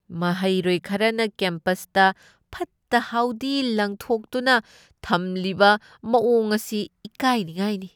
ꯃꯍꯩꯔꯣꯏ ꯈꯔꯅ ꯀꯦꯝꯄꯁꯇ ꯐꯠꯇ ꯍꯥꯎꯗꯤ ꯂꯪꯊꯣꯛꯇꯨꯅ ꯊꯝꯂꯤꯕ ꯃꯋꯣꯡ ꯑꯁꯤ ꯏꯀꯥꯢꯅꯤꯉꯥꯢꯅꯤ꯫